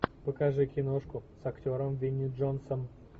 покажи киношку с актером винни джонсом